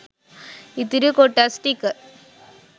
ඉතිරි කොටස් ටික